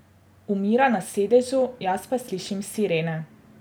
Umira na sedežu, jaz pa slišim sirene.